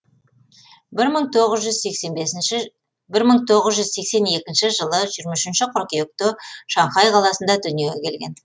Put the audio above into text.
бір мың тоғыз жүз сексен екінші жылы жирма үшінші қыркүйекте шанхай қаласында дүниеге келген